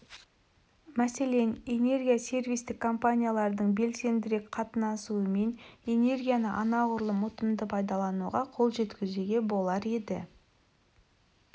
мәселен энергия сервистік компаниялардың белсендірек қатынасуымен энергияны анағұрлым ұтымды пайдалануға қол жеткізуге болар еді